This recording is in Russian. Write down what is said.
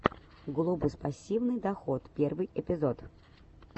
глобус пассивный доход первый эпизод